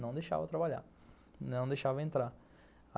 não deixava trabalhar, não deixava entrar.